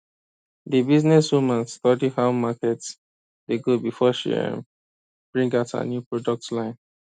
the businesswoman study how market dey go before she um bring out her new product line